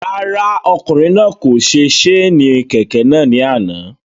Rárá, ọkùnrin náà kò se séènì kẹ̀kẹ́ náà ni àná